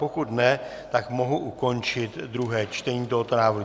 Pokud ne, tak mohu ukončit druhé čtení tohoto návrhu.